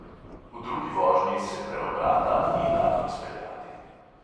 V drugi vožnji se preobrata ni dalo izpeljati.